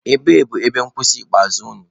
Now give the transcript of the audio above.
Ebee bụ ebe nkwụsị ikpeazụ unu?